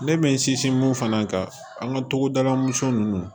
Ne bɛ n sinsin mun fana kan an ka togoda mɔnsɔn ninnu